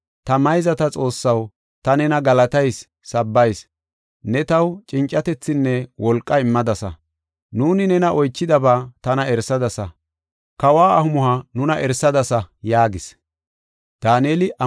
Ta mayzata Xoossaw, ta nena galatayis; sabbayis. Ne taw cincatethinne wolqa immadasa; nuuni nena oychidaba tana erisadasa; kawa amuhuwa nuna erisadasa” yaagis.